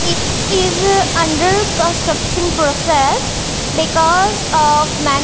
it is under construction process because of man--